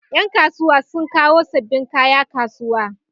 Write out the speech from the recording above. Ƴan kasuwa sun kawo sabbin kaya kasuwa